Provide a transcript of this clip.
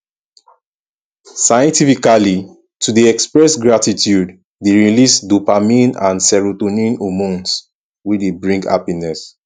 scientifically to de express gratitude de release dopamine and serotonin hormones wey de bring happiness